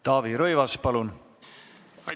Taavi Rõivas, palun!